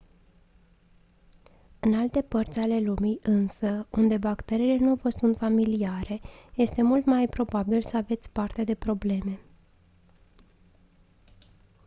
în alte părți ale lumii însă unde bacteriile nu vă sunt familiare este mult mai probabil să aveți parte de probleme